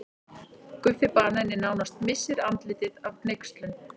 Guffi banani nánast missir andlitið af hneykslun.